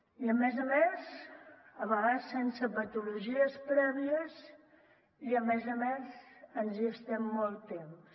i a més a més a vegades sense patologies prèvies i a més a més ens hi estem molt temps